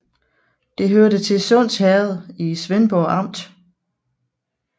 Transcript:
Det hørte til Sunds Herred i Svendborg Amt